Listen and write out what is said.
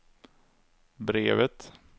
brevet